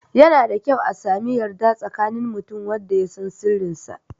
Yana da kyau a sami yarda tsakanin mutum da wanda ya san sirrin sa